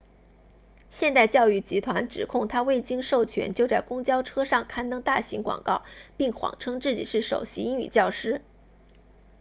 现代教育集团指控他未经授权就在公交车上刊登大型广告并谎称自己是首席英语教师